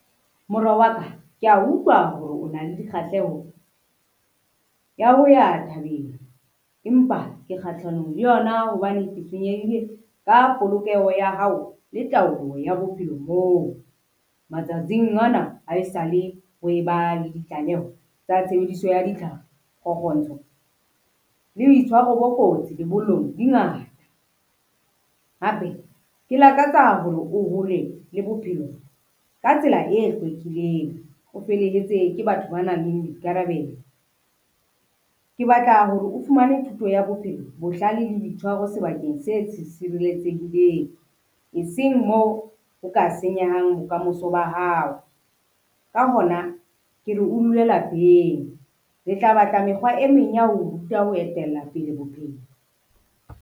Mora wa ka kea utlwa hore o na le dikgahleho ya ho ya thabeng, empa ke kgahlanong le yona hobane ke tshwenyehile ka polokeho ya hao le taolo ya bophelo moo. Matsatsing ana ha esale ho e ba le ditlaleho tsa tshebediso ya ditlhare, le boitshwaro bo kotsi lebollong di ngata. Hape ke lakatsa haholo o hole le bophelo ka tsela e hlwekileng, o felehetse ke batho ba nang le boikarabelo. Ke batla hore o fumane thuto ya bophelo, bohlale le boitshwaro sebakeng se sireletsehileng, eseng moo o ka senyehang bokamoso ba hao. Ka hona ke re o dule lapeng re tla batla mekgwa e meng ya ho ruta ho etella pele bophelo.